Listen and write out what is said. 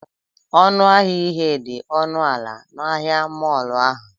ọnụ ahịa ihe dị ọnụ ala na ahịa mọọlụ ahụ?